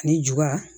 Ani ju